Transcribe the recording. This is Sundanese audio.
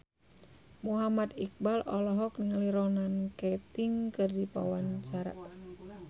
Muhammad Iqbal olohok ningali Ronan Keating keur diwawancara